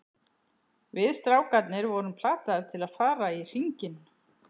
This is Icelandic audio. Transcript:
Við strákarnir vorum plataðir til að fara í hringinn.